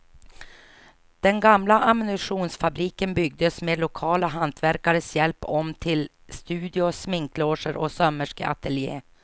Den gamla ammunitionsfabriken byggdes med lokala hantverkares hjälp om till studio, sminkloger och sömmerskeatelje.